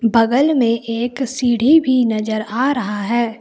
बगल में एक सीढ़ी भी नजर आ रहा है।